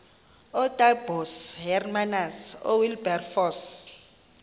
ootaaibos hermanus oowilberforce